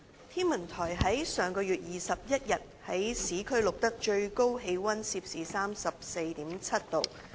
天文台於上月21日在市區錄得最高氣溫攝氏 34.7 度。